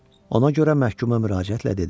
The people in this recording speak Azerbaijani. Ona görə məhkumə müraciətlə dedi: